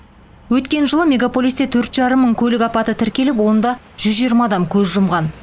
өткен жылы мегаполисте төрт жарым мың көлік апаты тіркеліп онда жүз жиырма адам көз жұмған